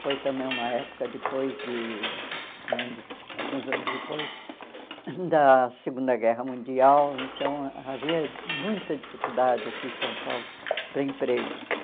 Foi também uma época, depois de anos alguns anos depois da Segunda Guerra Mundial, então havia muita dificuldade aqui em São Paulo para empregos.